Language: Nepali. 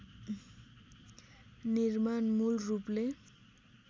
निर्माण मूल रूपले